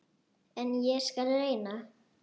En ég skal reyna.